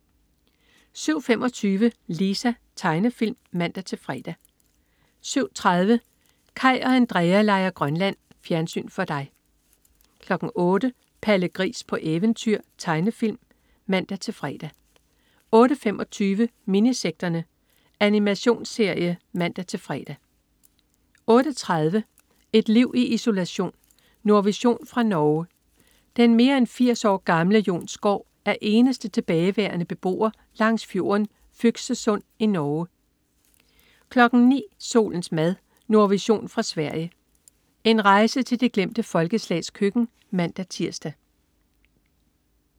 07.25 Lisa. Tegnefilm (man-fre) 07.30 Kaj og Andrea leger Grønland. Fjernsyn for dig 08.00 Palle Gris på eventyr. Tegnefilm (man-fre) 08.25 Minisekterne. Animationsserie (man-fre) 08.30 Et liv i isolation. Nordvision fra Norge. Den mere end 80 år gamle Jon Skaar er eneste tilbageværende beboer langs fjorden Fyksesund i Norge 09.00 Solens mad. Nordvision fra Sverige. En rejse til de glemte folkeslags køkken (man-tirs)